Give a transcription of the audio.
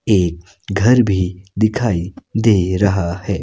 एक घर भी दिखाई दे रहा है।